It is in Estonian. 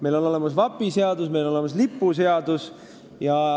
Meil on olemas vapiseadus ja meil on olemas lipuseadus.